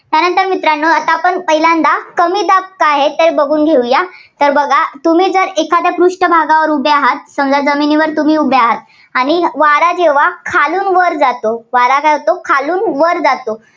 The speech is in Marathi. त्यानंतर मित्रांनो आता आपण पहिल्यांदा कमी दाब काय आहे, ते बघून घेऊया. तर बघा तुम्ही जर एखाद्या पृष्ठ भागावर उभे आहात, समजा जमिनीवर तुम्ही उभे आहात आणि वारा जेव्हा खालून वर जातो वारा काय होतो खालून वर जातो.